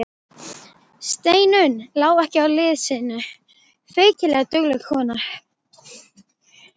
Steinunn lá ekki á liði sínu, feykilega dugleg kona.